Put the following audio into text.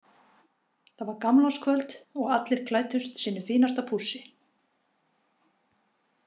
Það var gamlárskvöld og allir klæddust sínu fínasta pússi.